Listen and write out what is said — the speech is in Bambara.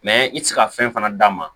i tɛ se ka fɛn fana d'a ma